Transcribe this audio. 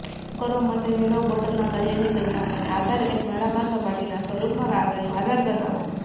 કામ કરવા માટે મેળવો બોટલના તળિયાની પરિમાણોને આધારે એક નળાકાર સપાટીના સ્વરૂપમાં કાગળનો આધાર બનાવો